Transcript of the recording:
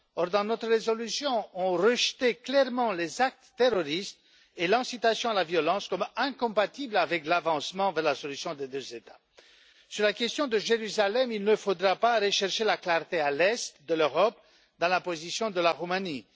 Or, dans notre résolution, nous avons rejeté clairement les actes terroristes et l'incitation à la violence comme incompatibles avec les avancées vers la solution à deux États. Sur la question de Jérusalem, il ne faudra pas rechercher la clarté à l'Est de l'Europe, dans la position de la Roumanie.